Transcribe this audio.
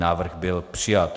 Návrh byl přijat.